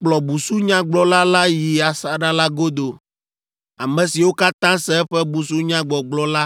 “Kplɔ busunyagblɔla la yi asaɖa la godo. Ame siwo katã se eƒe busunyagbɔgblɔ la